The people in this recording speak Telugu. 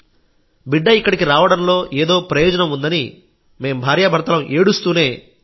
బిడ్డ ఇక్కడికి రావడంలో ఏదో ప్రయోజనం ఉందని భార్యాభర్తలం ఏడుస్తూనే ఆ నిర్ణయానికి వచ్చాం